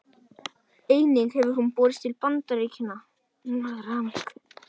Einnig hefur hún borist til Bandaríkja Norður-Ameríku.